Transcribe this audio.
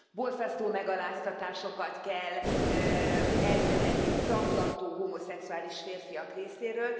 Borzasztó megaláztatásokat kell elszenvedniük zaklató homoszexuális férfiak részéről.